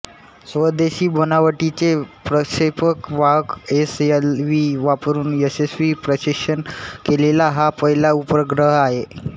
स्वदेशी बनावटीचे प्रक्षेपक वाहक एस एल व्ही वापरून यशस्वी प्रक्षेपण केलेला हा पहिला उपग्रह आहे